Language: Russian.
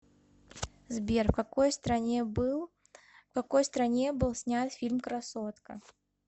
сбер в какой стране был в какой стране был снят фильм красотка